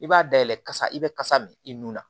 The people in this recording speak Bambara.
I b'a dayɛlɛ kasa i bɛ kasa min i nun na